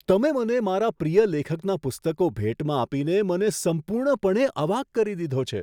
તમે મને મારા પ્રિય લેખકના પુસ્તકો ભેટમાં આપીને મને સંપૂર્ણપણે અવાક કરી દીધો છે!